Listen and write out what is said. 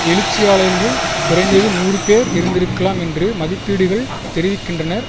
எழுச்சியாளர்கள் குறைந்தது நூறு பேர் இருந்திருக்கலாம் என்று மதிப்பீடுகள் தெரிவிக்கின்றனர்